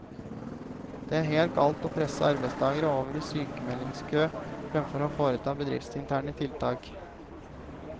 Det er helt galt å presse arbeidstagere over i sykmeldingskø fremfor å foreta bedriftsinterne tiltak.